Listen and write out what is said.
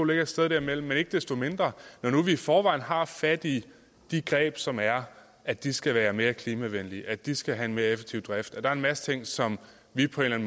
ligger et sted derimellem men når nu vi i forvejen har fat i de greb som er at de skal være mere klimavenlige at de skal have en mere effektiv drift og der en masse ting som vi på en